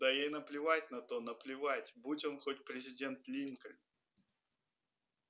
да ей наплевать на то наплевать будь он хоть президент линкольн